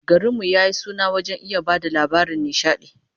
Garin mu ya yi suna wajen iya ba da labaran nishadi